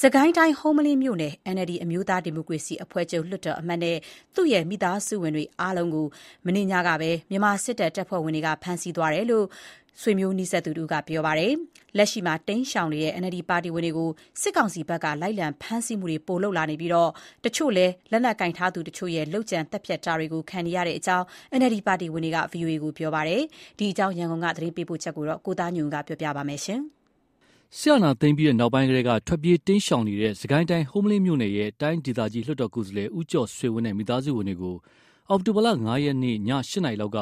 စစ်ကိုင်းတိုင်း ဟုမ္မလင်းမြို့နယ် NLD အမျိုးသားဒီမိုကရေစီအဖွဲ့ချုပ် လွှတ်တော်အမတ်နဲ့ သူ့ရဲ့မိသားစုဝင်အားလုံးကို မနေ့ညက မြန်မာစစ်တပ် တပ်ဖွဲ့ဝင်တွေ ဖမ်းဆီးသွားတယ်လို့ ဆွေမျိုးသားချင်းတွေက ပြောပါတယ်။ လက်ရှိမှာ တိမ်းရှောင်နေတဲ့ NLD ပါတီဝင်တွေကို စစ်ကောင်စီဘက်က လိုက်လံဖမ်းဆီးမှုတွေ ပိုလုပ်လာနေပြီး တချို့လည်း လက်နက်ကိုင်ထားသူတချို့ရဲ့ လုပ်ကြံသတ်ဖြတ်တာတွေ ခံနေရတဲ့အကြောင်း NLD ပါတီဝင်တွေက VOA ကို ပြောပါတယ်။ ဒီအကြောင်း ရန်ကုန်က သတင်းပေးပို့ချက်ကို ကိုသားညွန့်ဦးက တင်ပြပေးထားပါတယ်။ စစ်အာဏာသိမ်းပြီးနောက်ပိုင်းကတည်းက ထွက်ပြေးတိမ်းရှောင်နေတဲ့ စစ်ကိုင်းတိုင်း၊ ဟုမ္မလင်းမြို့နယ်ရဲ့ တိုင်းဒေသကြီး လွှတ်တော်ကိုယ်စားလှယ် ဦးကျော်ဆွေဝင်းနဲ့ မိသားစုဝင်တွေကို အောက်တိုဘာလ ၅ ရက် ည ၈ နာရီလောက်က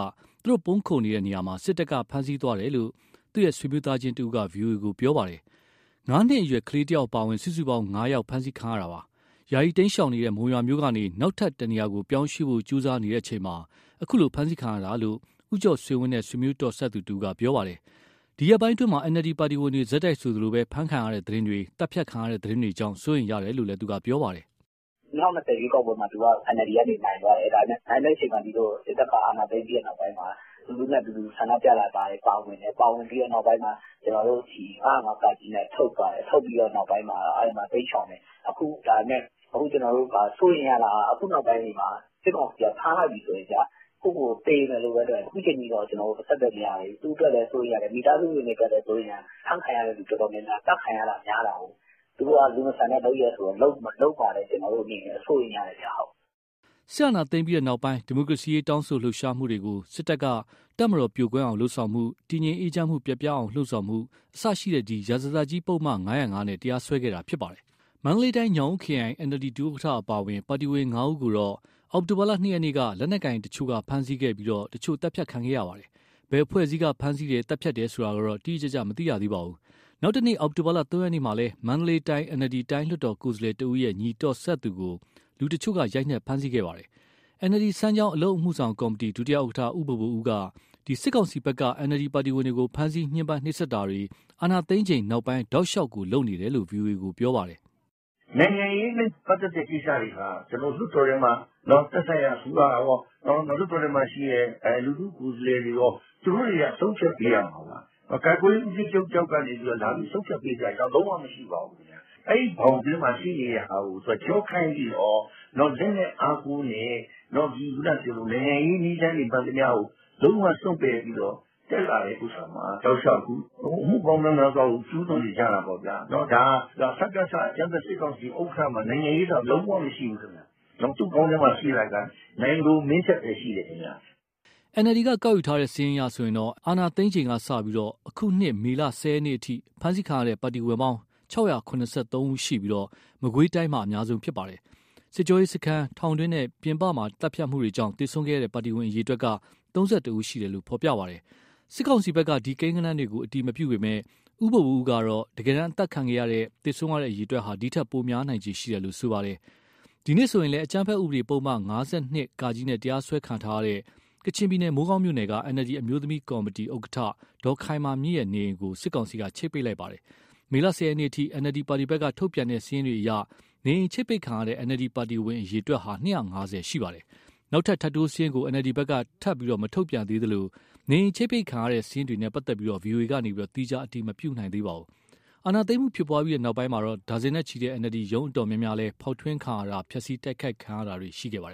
ပုန်းခိုနေတဲ့ နေရာမှာ စစ်တပ်က ဖမ်းဆီးသွားတယ်လို့ သူ့ရဲ့ဆွေမျိုးသားချင်းတဦးက ဗွီအိုအေကို ပြောပါတယ်။ ငါးနှစ်အရွယ်ကလေးတယောက် အပါအဝင် စုစုပေါင်း ၅ ယောက် ဖမ်းဆီးခံရတာပါ။ ယာယီတိမ်းရှောင်နေတဲ့ မုံရွာမြို့ကနေ နောက်ထပ် တနေရာကို ပြောင်းရွှေ့ဖို့ကြိုးစားနေချိန်မှာ အခုလို ဖမ်းဆီးခံရတာလို့လည်း ဦးကျော်ဆွေဝင်းနဲ့ ဆွေမျိုးတော်စပ်သူတဦးက ပြောပါတယ်။ ဒီရက်ပိုင်းအတွင်းမှာ NLD ပါတီဝင်တွေ ဆက်တိုက်ဆိုသလို ဖမ်းဆီးခံရတဲ့သတင်းတွေ၊ သတ်ဖြတ်ခံရတဲ့ သတင်းတွေကြောင့် စိုးရိမ်ရတယ်လို့လည်း ပြောပါတယ်။ " ၂၀၂၀ ရွေးကောက်ပွဲမှာ သူက NLD ကနေနိုင်သွားတယ်။ နိုင်တဲ့အချိန်မှာ စစ်တပ်ကအာဏာသိမ်းပြီး နောက်ပိုင်းမှာ လူထုနဲ့အတူ ဆန္ဒပြတာတွေမှာပါဝင်တယ်။ နောက်ပိုင်းမှာ ၅၀၅ (က) နဲ့ ထုတ်ပြီးတဲ့နောက်ပိုင်းမှာ တိမ်းရှောင်တယ်။ အခု စိုးရိမ်ရတာက စစ်ကောင်စီက ဖမ်းလိုက်ပြီဆိုရင်ဗျာ ကိုယ့်ကိုယ်ကိုယ် သေမယ်လို့ပဲ တွက်တယ်။ အခုအချိန်အထိတော့ ကျနော်တို့ အဆက်အသွယ်မရသေးဘူး။ သူ့ အတွက်လည်း စိုးရိမ်ရတယ်၊ မိသားစုဝင်တွေအတွက်လည်း စိုးရိမ်ရတယ်။ ဖမ်းခံရသူ တော်တော်များများက သတ်ခံရတာများတာကိုး။ သူတို့က လူမဆန်တဲ့လုပ်ရပ်ဆိုတော့ လုပ်မှာ ကျနော်တို့ စိုးရိမ်ရတယ်။" စစ်အာဏာသိမ်းပြီးနောက်ပိုင်း ဒီမိုကရေစီတောင်းဆိုလှုပ်ရှားသူတွေကို စစ်တပ်က တပ်မတော်ပြိုကွဲအောင်လုပ်ဆောင်မှု၊ တည်ငြိမ်အေးချမ်းမှု ပျက်ပြားအောင် လှုံ့ဆော်မှုစတဲ့ ရာဇသတ်ကြီးပုဒ်မ ၅၀၅ နဲ့ တရားစွဲခဲ့တာဖြစ်ပါတယ်။ မန္တလေးတိုင်း၊ ညောင်ဦးခရိုင် NLD ဒု ဥက္ကဋ္ဌ အပါအဝင် ပါတီဝင် ၅ ဦးကိုတော့ အောက်တိုဘာလ၂ ရက်က လက်နက်ကိုင်တချို့က ဖမ်းဆီးခဲ့ပြီး တချို့ သတ်ဖြတ်ခံခဲ့ရပါတယ်။ ဘယ်အဖွဲ့အစည်းက ဖမ်းဆီးတယ်၊ သတ်ဖြတ်တယ်ဆိုတာ တိတိကျကျ မသိရသေးပါဘူး။ နောက်တနေ့ အောက်တိုဘာလ ၃ ရက်မှာလည်း မန္တလေးတိုင်း NLD တိုင်းလွှတ်တော်ကိုယ်စားလှယ်တဦးရဲ့ ညီတော်စပ်သူကို လူတချို့က ရိုက်နှက်၊ ဖမ်းဆီးခဲ့တာပါ။ NLD စမ်းချောင်း အလုပ်မှုဆောင်ကော်မတီ ဒု ဥက္ကဋ္ဌ ဦးဘိုဘိုဦးက စစ်ကောင်စီဘက်က NLD ပါတီဝင်တွေကို ဖမ်းဆီးညှင်းပန်းနှိပ်စက်တာတွေ၊ အာဏာသိမ်းချိန်နောက်ပိုင်း တောက်လျှောက် လုပ်နေတယ်လို့ ဗွီအိုအေကို ပြောပါတယ်။ " နိုင်ငံရေးနဲ့ ပတ်သက်တဲ့ကိစ္စတွေဟာ သက်ဆိုင်ရာအစိုးရကော လွှတ်တော်ထဲမှာရှိတဲ့ လူထုကိုယ်စားလှယ်တွေရော သူတို့တွေက ဆုံးဖြတ်ပေးရမှာ။ ကာကွယ်ရေး ဦးစီးချုပ်တယောက်ကနေ လာပြီးဆုံးဖြတ်ပေးစရာအကြောင်း လုံးဝမရှိပါဘူး။ အဲဒီဘောင်ထဲမှာရှိနေတာကို သူကကျောခိုင်းပြီးတော့ လက်နက်အားကိုးနဲ့ နိုင်ငံရေးနည်းလမ်းတွေ မှန်သမျှကို လုံးဝစွန့်ပယ်ပြီးတော့ တက်လာတာမှာ အမှုပေါင်း မြောက်များစွာကို ကျူးလွန်နေကြတာပေါ့ဗျာ။ ဒါက စကစအကြမ်းဖက် စစ်ကောင်စီဥက္ကဋ္ဌမှာ နိုင်ငံရေးဆိုတာ လုံးဝမရှိဘူး သူ့ခေါင်းထဲမှာရှိတာက နိုင်လိုမင်းထက်ပဲရှိတယ်။" NLD ကောက်ယူထားတဲ့ စာရင်းအရဆိုရင် အာဏာသိမ်းချိန်ကစပြီး အခုနှစ်မေလ ၁၀ ရက်အထိ ဖမ်းဆီးခံရတဲ့ ပါတီဝင်ပေါင်း ၆၇၃ ယောက်ရှိပြီး မကွေးတိုင်းက အများဆုံး ဖြစ်ပါတယ်။ စစ်ကြောရေးစခန်း၊ ထောင်တွင်းနဲ့ ပြင်ပမှာသတ်ဖြတ်မှုကြောင့် သေဆုံးခဲ့တဲ့ ပါတီဝင် အရေအတွက်က ၃၁ ယောက်ရှိတယ်လို့ ဖေါ်ပြပါတယ်။ စစ်ကောင်စီဘက်က ဒီကိန်းဂဏန်းတွေကို အတည်မပြုပေမယ့် ဦးဘိုဘိုဦးကတော့ တကယ်တမ်း အသတ်ခံရတဲ့၊ သေဆုံးရတဲ့အရေအတွက်ဟာ ဒီထက်ပိုများနိုင်ခြေရှိတယ်လို့ ပြောပါတယ်။ ဒီနေ့ဆိုရင်လည်း အကြမ်းဖက်ဥပဒေ ပုဒ်မ ၅၂ (က) နဲ့ တရားစွဲခံထားရတဲ့ ကချင်ပြည်နယ် မိုးကောင်းမြို့နယ်က NLD အမျိုးသမီးကော်မတီ ဥက္ကဋ္ဌဒေါ်ခိုင်မာမြင့်ရဲ့ နေအိမ်ကို စစ်ကောင်စီက ချိပ်ပိတ်လိုက်ပါတယ်။ မေလ ၁၀ ရက်အထိ NLD ပါတီဘက်က ထုတ်ပြန်တဲ့စာရင်းတွေအရ နေအိမ်ချိပ်ပိတ်ခံရတဲ့ NLD ပါတီဝင် အရေအတွက်ဟာ ၂၅၀ ရှိပါတယ်။ နောက်ထပ် ထပ်တိုးစရင်းကို NLD ဘက်က ထပ်မထုတ်ပြန်သေးသလို နေအိမ် ချိပ်ပိတ်ခံရတဲ့ စာရင်းတွေနဲ့ ပတ်သက်လို့ VOA က သီးခြား အတည်မပြုနိုင်ပါဘူး။ အာဏာသိမ်းမှုဖြစ်ပွားပြီး နောက်ပိုင်းမှာ ဒါဇင်နဲ့ ချီတဲ့ NLD ရုံးတော်တော်များများလည်း ဖေါက်ထွင်းခံရတာ၊ ဖျက်ဆီးတိုက်ခိုက် တာတွေ ခံခဲ့ရပါတယ်